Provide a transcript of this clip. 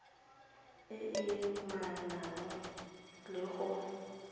e e amanang le go